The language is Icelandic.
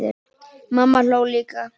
Mamma hló líka.